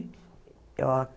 Eu